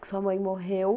que sua mãe morreu.